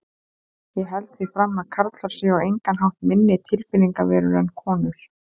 Ég held því fram að karlar séu á engan hátt minni tilfinningaverur en konur.